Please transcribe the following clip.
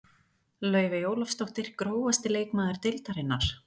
Laufey Ólafsdóttir Grófasti leikmaður deildarinnar?